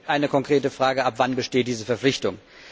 Also eine konkrete Frage Ab wann besteht diese Verpflichtung?